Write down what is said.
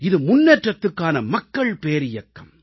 இது முன்னேற்றதுக்கான மக்கள் பேரியக்கம்